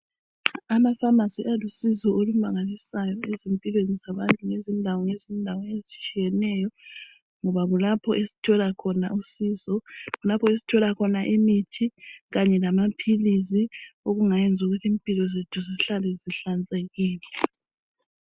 Amafamasi alusizo olumangalisayo ezimpilweni zabantu ngezindawo ngezindawo ezitshiyeneyo ngoba kulapho esithola khona usizo kulapho esithola khona imithi kanye lamaphilisi okungayenza ukuthi impilo zethu zihlale zihlanzekile.